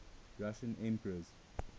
russian emperors